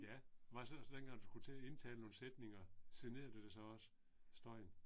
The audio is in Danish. Ja. Var det så også sådan dengang du skulle til at indtale nogle sætninger, generede det dig så også? Støjen?